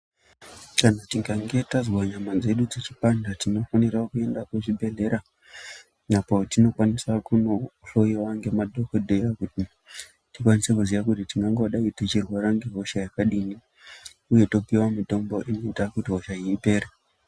Kana tikange tazwe nyama dzedu dzichipanda tinofanira kuenda kuchibhedhlera apo tinokwanisa kundohloyiwa ngemadhogodheya kuti tikwanise kuziya kuti tingangodaro tichirwara ngehosha yakadini uye topiwa mitombo inoita kuti hosha iyi ipere.